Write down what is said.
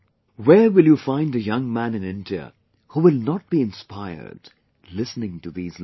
Where will you find a young man in India who will not be inspired listening to these lines